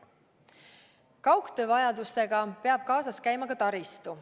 Kaugtöö vajadusega peab kaasas käima ka taristu.